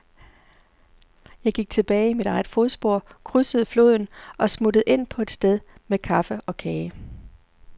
Jeg gik tilbage i mit eget fodspor, krydsede floden og smuttede ind på et sted med kaffe og kage.